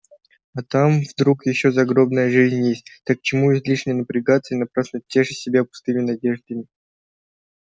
а там вдруг ещё загробная жизнь есть так к чему излишне напрягаться и напрасно тешить себя пустыми надеждами